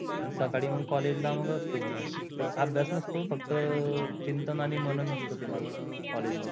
साकडी मग college ला असतो मी ते अभ्यास नसतो फक्त चिंतन आनी मनन असतो ते माझ college मध्ये.